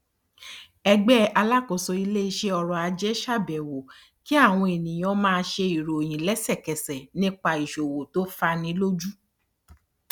ẹgbẹ alákóso iléiṣẹ ọrọ ajé ṣàbẹwò kí àwọn ènìyàn máa ṣe ìròyìn lẹsẹkẹsẹ nípa ìṣòwò tó fani lójú